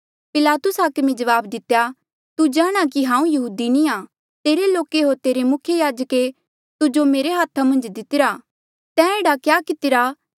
पिलातुस हाकमे जवाब दितेया तू जाणा कि हांऊँ यहूदी नी आ तेरे लोके होर तेरे मुख्य याजके तुजो मेरे हाथा मन्झ दितिरा तैं एह्ड़ा क्या कितिरा